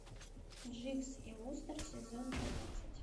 дживс и вустер сезон двенадцать